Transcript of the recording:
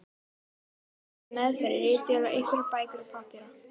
Þeir félagar höfðu meðferðis ritvél og einhverjar bækur og pappíra.